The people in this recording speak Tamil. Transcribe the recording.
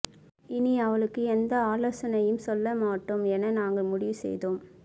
இனி அவளுக்கு எந்த ஆலோசனையும் சொல்ல மாட்டோம் என நாங்கள் முடிவு செய்தோம்